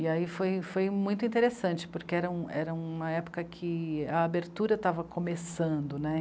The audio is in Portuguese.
E aí foi, foi muito interessante, porque era, era uma época em que a abertura estava começando né.